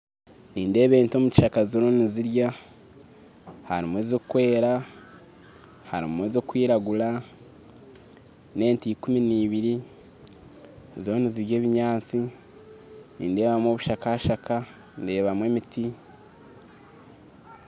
Nindeeba ente omu kishaaka zirimu nizirya harimu ezikwera harimu ezikwiragura n'ente ikumu nibiiri ziriyo nizirya ebinyaatsi nindeebamu obushaaka shaaka ndeebamu emiti